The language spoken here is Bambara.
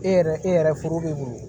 E yɛrɛ e yɛrɛ furu bɛ bolo